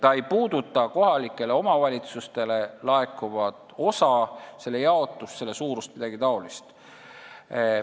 See ei puuduta kohalikele omavalitsustele laekuvat osa, selle jaotust, suurust ega midagi taolist.